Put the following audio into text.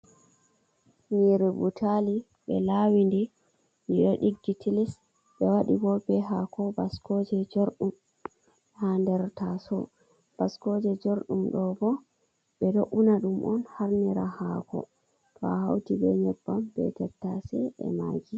nyire butali ɓe lawindi di ɗo ɗiggi tilis, ɓe waɗi bo be haako baskoje jorɗum, ha nder taso, baskoje jorɗum ɗo bo ɓe ɗo una ɗum on harnira haako, to a hauti be nyebbam be tettase be magi.